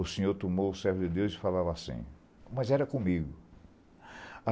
O Senhor tomou o servo de Deus e falava assim, mas era comigo.